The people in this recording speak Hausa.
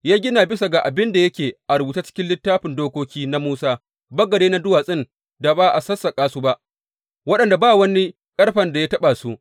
Ya gina bisa ga abin da yake a rubuce a cikin Littafin Dokoki na Musa, bagade na duwatsun da ba a sassaƙa su ba, waɗanda ba wani ƙarfen da ya taɓa su.